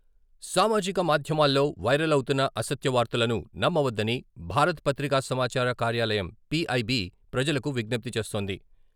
సామాజిక మాధ్యమాల్లో వైరల్ అవుతున్న అసత్య వార్తలను నమ్మవద్దని భారత పత్రికా సమాచార కార్యాలయం, పి.ఐ.బి. ప్రజలకు విజ్ఞప్తి చేస్తోంది.